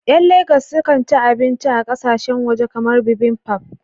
Ƴan Legas sukan ci abinci a ƙasashen waje kamar bibimbap